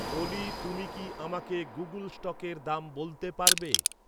অলি তুমি কি আমাকে গুগল্ স্টকের দাম বলতে পারবে